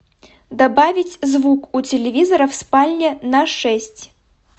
добавить звук у телевизора в спальне на шесть